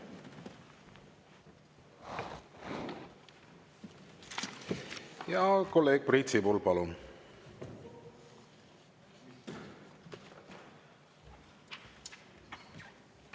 Ja kolleeg Priit Sibul, palun!